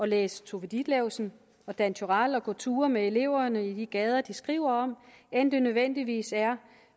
læse tove ditlevsen og dan turèll og gå ture med eleverne i de gader de skriver om end det nødvendigvis er